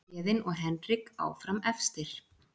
Héðinn og Henrik áfram efstir